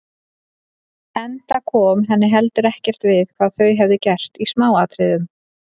Enda kom henni heldur ekkert við hvað þau hefðu gert í smáatriðum.